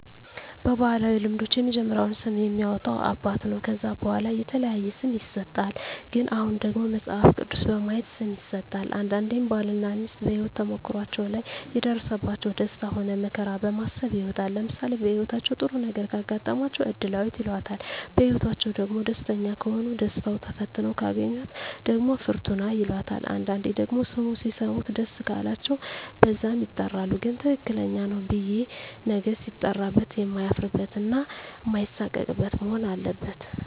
በባህላዊ ልምዶች የመጀመሪያውን ስም የሚያወጣ አባት ነው ከዛ በዋላ የተለያየ ስም ይሰጥሃል ግን አሁን ደግሞ መጸሀፍ ቅዱስ በማየት ስም ይሠጣል አንዳንዴም ባል እና ሜስት በሄወት ተሞክሮዎች ላይ የደረሰባቸው ደስታ ሆነ መከራ በማሰብ ይወጣል ለምሳሌ በህይወታቸው ጥሩ ነገረ ካጋጠማቸው እድላዌት ይላታል በህይወትአቸዉ ደግሞ ደስተኛ ከሆኑ ደስታው ተፈትነው ካገኛት ደግሞ ፍርቱና ይላታል አንዳንዴ ደግሞ ስሙ ሲሰሙት ደስ ቃላቸው በዛም ይጠራሉ ግን ትክክለኛው ብየ ነገ ሲጠራበት የማያፍርበት እና ማይሳቀቅበት መሆን አለበት